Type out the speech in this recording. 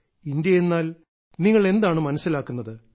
ഇന്ത്യയെന്നാൽ നിങ്ങൾ എന്താണ് മനസ്സിലാക്കുന്നത്